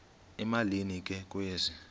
emalini ke kwezi